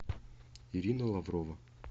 ирина лаврова